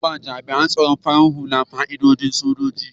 Za a ba jami'an tsaron farar hula fa'idodin soji.